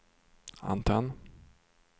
antenn